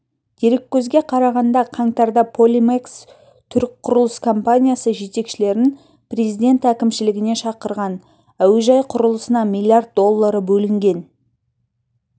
дереккөзге қарағанда қаңтарда полимекс түрік құрылыс компаниясы жетекшілерін президент әкімшілігіне шақырған әуежай құрылысына миллиард доллары бөлінген